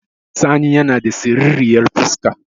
Sani yana da siriryar fuska